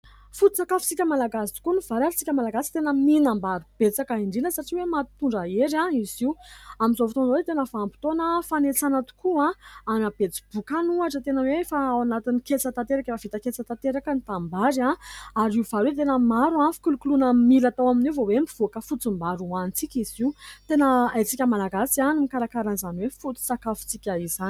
Foto-tsakafotsika Malagasy tokoa ny vary ary isika Malagasy tena mihinam-bary betsaka indrindra satria hoe mampitondra hery izy io. Amin'izao fotoana izao dia tena vanim-potoana fanetsana tokoa any Betsiboka any ohatra, tena hoe efa ao anatin'ny ketsa tanteraka, efa vita ketsa tanteraka ny tanimbary ary io vary io dia tena maro ny fikolokoloana mila atao amin'io vao hoe mivoaka fotsim-bary hoanintsika izy io, tena haintsika Malagasy ny mikarakara izany hoe foto-tsakafotsika izany.